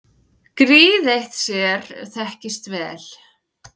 Gríð eitt sér þekkist vel.